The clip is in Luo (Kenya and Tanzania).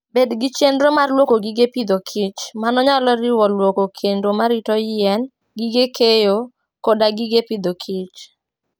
Bed gi chenro mar lwoko gige pidhokich. Mano nyalo riwo lwoko kendo marito yien, gige keyo, koda gige pidhokich.